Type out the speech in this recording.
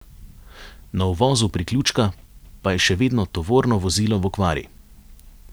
Na uvozu priključka pa je še vedno tovorno vozilo v okvari.